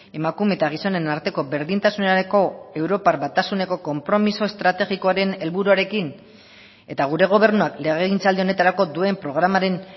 emakume eta gizonen arteko berdintasunerako europar batasuneko konpromiso estrategikoaren helburuarekin eta gure gobernuak legegintzaldi honetarako duen programaren